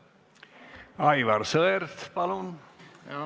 Aivar Sõerd, palun!